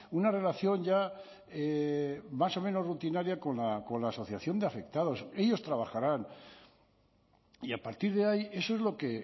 una relación ya más o menos rutinaria con la asociación de afectados ellos trabajarán y a partir de ahí eso es lo que